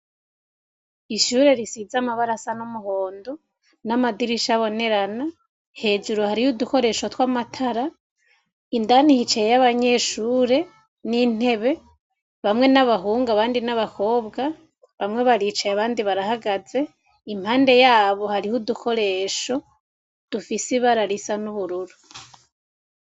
Ishure risiza amabarasa n'muhondo n'amadirisha abonerana hejuru hariho udukoresho tw'amatara indanihicaye y'abanyeshure n'intebe bamwe n'abahungu abandi n'abakobwa bamwe baricaye abandi barahagaze impande yabo hariho udukoresho dufise ibararisa n'ubururu.